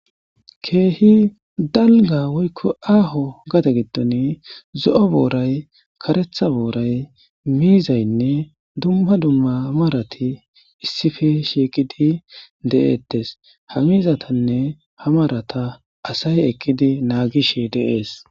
keehi dalga woykko aaho gate giddon zo7o booray karetha booray miizaynne dumma dumma marati issife shieqidi de7etes ha miizatanne ha marata asay eqidi naagishe deees